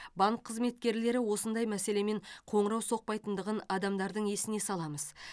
банк қызметкерлері осындай мәселемен қоңырау соқпайтындығын адамдардың есіне саламыз